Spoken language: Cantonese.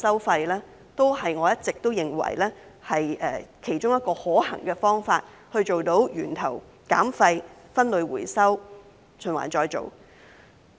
因此，我一直認為廢物收費是其中一個可行方法，可以做到源頭減廢、分類回收及循環再造。